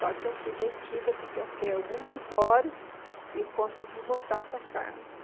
Só que eu fui detida porque eu fiquei algumas horas e consegui voltar para casa.